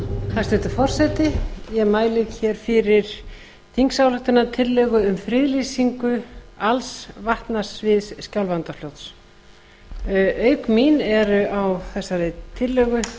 hæstvirtur forseti ég mæli fyrir þingsályktunartillögu um friðlýsingu alls vatnasviðs skjálfandafljóts auk mín eru á þessari tillögu